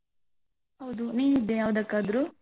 ಹೌದು, ನೀನಿದ್ಯಾ ಯಾವ್ದಕ್ಕಾದ್ರು?